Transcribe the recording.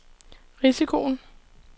risikoen